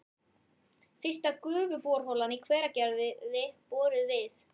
Fyrsta gufuborholan í Hveragerði boruð við